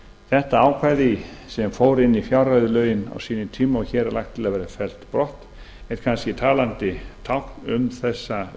þetta ákvæði sem fór inn í fjárreiðulögin á sínum tíma og hér er lagt til að verði fellt brott er kannski talandi tákn um þessa